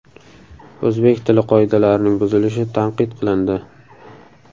O‘zbek tili qoidalarining buzilishi tanqid qilindi.